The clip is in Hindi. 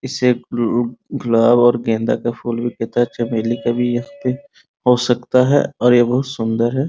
इससे गु गुलाब और गेंदा का फूल भी कहता है चमेली का भी यह हो सकता है और यह बहुत सुन्दर है ।